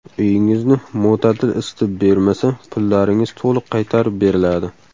Uyingizni mo‘tadil isitib bermasa pullaringiz to‘liq qaytarib beriladi!